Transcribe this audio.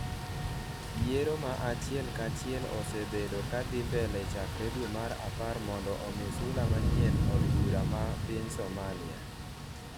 yiero ma achiel ka achiel osebedo ka dhi mbele chakre dweno mar apar mondo omi sula manyien od bura ma piny Somalia